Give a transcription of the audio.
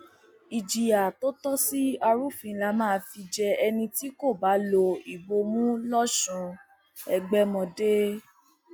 ìjìyà tó tọ sí arúfin láá máa fi jẹ ẹni tí kò bá lo ìbomú lọsùn ẹgbẹmọdé